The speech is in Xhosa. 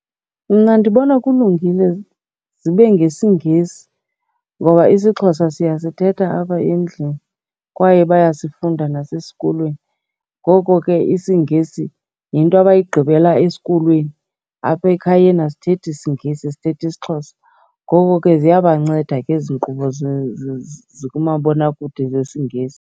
Mna ndibona kulungile zibe ngesiNgesi ngoba isiXhosa siyasithetha apha endlini kwaye bayasifunda nasesikolweni. Ngoko ke isiNgesi yinto abayigqibela esikolweni, apha ekhayeni asithethi isiNgesi sithetha isiXhosa. Ngoko ziyabanceda ke ezi nkqubo zikumabonakude zesiNgesi.